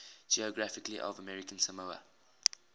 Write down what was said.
geography of american samoa